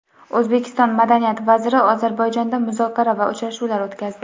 O‘zbekiston madaniyat vaziri Ozarbayjonda muzokara va uchrashuvlar o‘tkazdi.